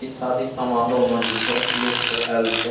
इ शादी समारोह में जे छै लोग सब आएल छै।